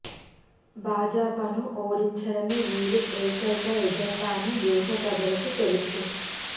భాజపాను ఓడించడమే వీరి ఏకైక ఎజెండా అని దేశ ప్రజలకూ తెలుసు